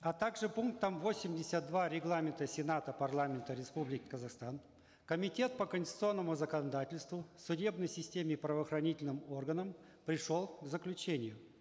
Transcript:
а также пунктом восемьдесят два регламента сената парламента республики казахстан комитет по конституционному законодательству судебной системе и правоохранительным органам пришел к заключению